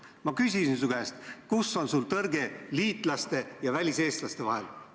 Ma küsisin su käest: mis tõrge on sul liitlasriikide väliseestlaste puhul?